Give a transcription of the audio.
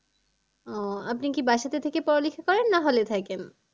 ও আপনি কি বাসাতে থেকে পড়ালেখা করেন না hall এ থাকেন?